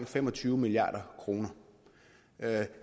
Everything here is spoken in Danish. fem og tyve milliard kroner